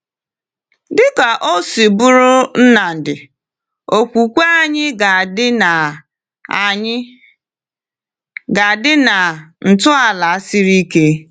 Dịka o si bụrụ Nnamdi, okwukwe anyị ga-adị na anyị ga-adị na ntọala siri ike.